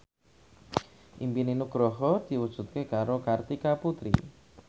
impine Nugroho diwujudke karo Kartika Putri